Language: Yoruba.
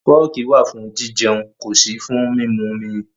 Fọ́ọ̀kì wà fún jijẹun, kò sí fún mímumi.